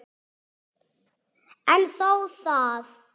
En þó það.